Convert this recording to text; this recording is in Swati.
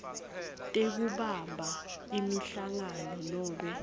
tekubamba imihlangano nobe